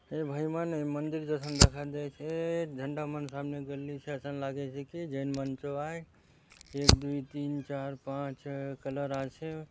ए भाईमान ए मंदिर असन दखा देयसे झंडा मन सामने गड़लीसे असन लागेसे कि जैन मन आय एक दुय तीन चार पाँच छ: कलर आचे।